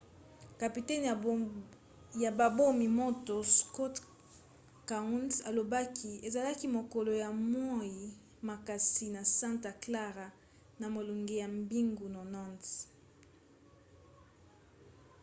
kapitene ya babomi-moto scott kouns alobaki: ezalaki mokolo ya moi makasi na santa clara na molunge ya mibu 90